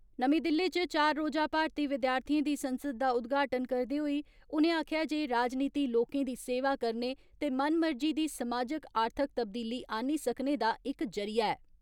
नमीं दिल्ली च चार रोजा भारती विद्यार्थियें दी संसद दा उदघाटन करदे होई उनें आक्खेआ जे राजनीति लोकें दी सेवा करने ते मनमर्जी दी समाजिक आर्थिक तब्दीली आनी सकने दा इक जरिया ऐ।